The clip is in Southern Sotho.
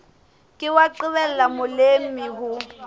ke wa qobella molemi ho